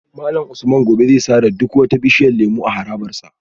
Malam Usman gobe zai sare duk wata bishiyar lemu a harabar sa